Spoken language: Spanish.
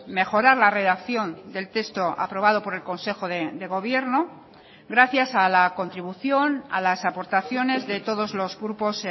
mejorar la redacción del texto aprobado por el consejo de gobierno gracias a la contribución a las aportaciones de todos los grupos